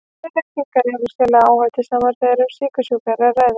En reykingar eru sérlega áhættusamar þegar um sykursjúka er að ræða.